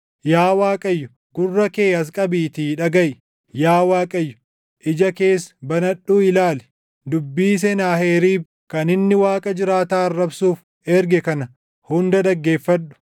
Yaa Waaqayyo, gurra kee as qabiitii dhagaʼi; yaa Waaqayyo, ija kees banadhuu ilaali; dubbii Senaaheriib kan inni Waaqa jiraataa arrabsuuf erge kana hunda dhaggeeffadhu.